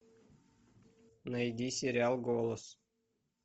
найди сериал голос